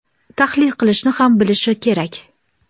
tahlil qilishni ham bilishi kerak.